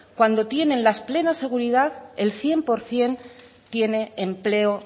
cuando tienen la plena seguridad el cien por ciento tiene empleo